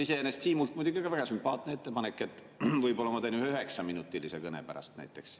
Iseenesest Siimult muidugi oli ka väga sümpaatne ettepanek, et võib-olla ma teen ühe üheksaminutilise kõne pärast näiteks.